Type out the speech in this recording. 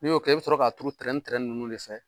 N y'o kɛ, i bɛ sɔrɔ k'a turu trɛntrɛn ninnu de fɛ.